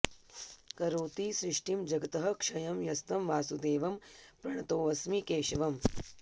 करोति सृष्टिं जगतः क्षयं यस्तं वासुदेवं प्रणतोऽस्मि केशवम्